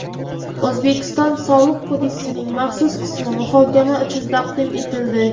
O‘zbekiston Soliq kodeksining maxsus qismi muhokama uchun taqdim etildi.